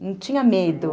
Não tinha medo.